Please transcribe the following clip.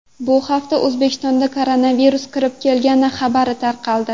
Bu haftada O‘zbekistonga koronavirus kirib kelgani xabari tarqaldi.